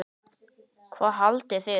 Hvað haldið þið!